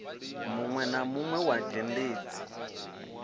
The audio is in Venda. munwe na munwe wa dzhendedzi